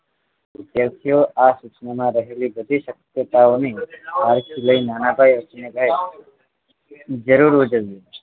વિદ્યાર્થીઓ આ સૂચનામાં રહેલી બધી શક્યતાઓને આર્કસ નાનાભાઈ હર્ષ ને કહે જરૂર ઉજવજો